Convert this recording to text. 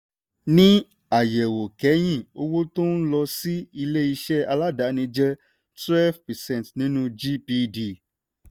ní àyẹ̀wò kẹ́yìn owó tó ń lọ sí ilé-iṣẹ́ aládáàni jẹ́ twelve percent nínú gdp.